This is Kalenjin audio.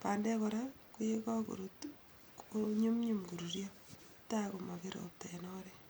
bandek kora koye kakorut konyumnyum koruryo tai komapir ropta en oret.